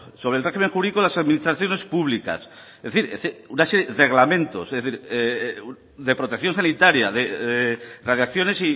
sobre el régimen jurídico de las administraciones públicas es decir una serie de reglamentos de protección sanitaria de radiaciones